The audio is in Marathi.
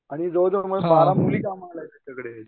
आणि जवळ जवळ बारा मुली कामाला आहेत त्याच्याकडे